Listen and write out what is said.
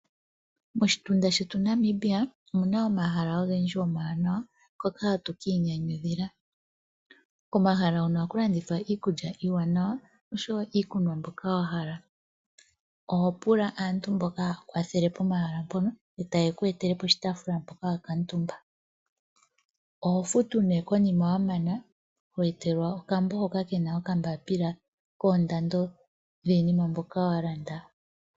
Moshitunda shetu Namibia omuna omahala ogendji omawanawa, hoka hatu ka inyanyudhila. Komahala hono ohaku landithwa iikulya iiwanawa osho wo iikunwa mbyoka wa hala. Oho pula aantu mboka haya kwathele pomahala mono, e ta ye ku etele poshitaafula mpoka wa kuutumba. Oho futu nee konima wa mana, ho etelwa okambo hoka ke na okambapila koondando dhiinima mbyoka wa landa.